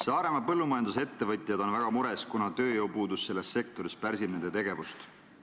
Saaremaa põllumajandusettevõtjad on väga mures, kuna tööjõupuudus selles sektoris pärsib nende tegevust.